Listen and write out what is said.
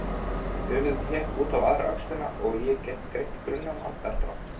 Höfuðið hékk út á aðra öxlina og ég gat greint grunnan andardrátt.